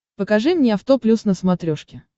покажи мне авто плюс на смотрешке